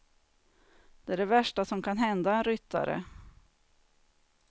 Det är det värsta som kan hända en ryttare.